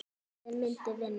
Hvort liðið myndi vinna?